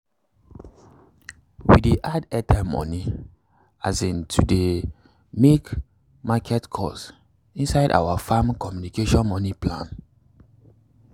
we dey add airtime money um to dey um make market calls inside our farm communication money plan.